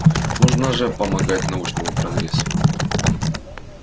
нужно же помогать научному прогрессу